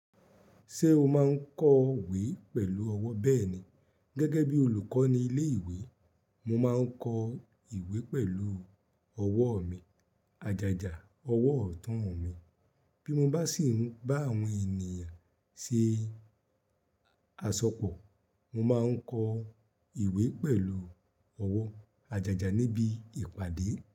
Ṣé o máa ń kọ ìwé pẹ̀lú ọwọ́? Bẹ́ẹ̀ni. Gẹ́gẹ́ bí olùkọ́ ní ilé ìwé, mo máa ń kọ ìwé pẹ̀lú ọwọ́ mi, àjájá ọwọ́ ọ̀tún mi. Bí mo bá sì ń bá àwọn ènìyàn ṣe àsopọ̀, mo máa ń kọ ìwé pẹ̀lú ọwọ́ àjájá níbi ìpàdé.